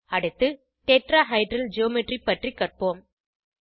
அடுத்து tetrahedral geometry பற்றி கற்போம்